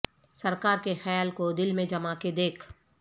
سرکار کے خیال کو دل میں جما کے دیکھ